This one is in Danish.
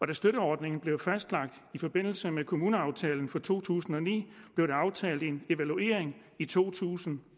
da støtteordningen blev fastlagt i forbindelse med kommuneaftalen for to tusind og ni blev der aftalt en evaluering i to tusind